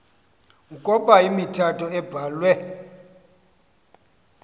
ukoba imithetho ebhahve